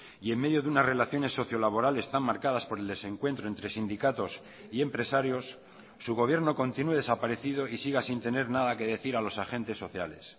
y en medio de unas relaciones sociolaborales tan marcadas por el desencuentro entre sindicatos y empresarios su gobierno continúe desaparecido y siga sin tener nada que decir a los agentes sociales